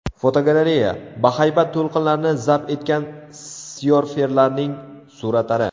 Fotogalereya: Bahaybat to‘lqinlarni zabt etgan syorferlarning suratlari.